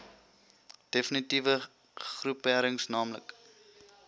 defnitiewe groeperings naamlik